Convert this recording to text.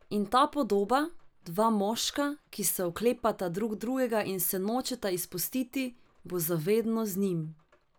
In ta podoba, dva moška, ki se oklepata drug drugega in se nočeta izpustiti, bo za vedno z njim.